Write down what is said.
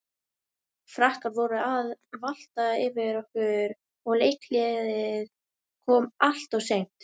Frakkar voru að valta yfir okkur og leikhléið kom alltof seint.